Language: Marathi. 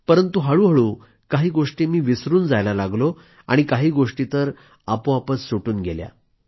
परंतु हळूहळू काही गोष्टी मी विसरून जायला लागलो आणि काही गोष्टी तर आपोआपच सुटून गेल्या